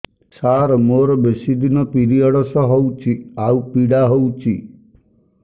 ସାର ମୋର ବେଶୀ ଦିନ ପିରୀଅଡ଼ସ ହଉଚି ଆଉ ପୀଡା ହଉଚି